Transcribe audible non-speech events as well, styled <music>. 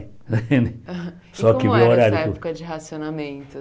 <laughs> Só que o horário E como era essa época de racionamento?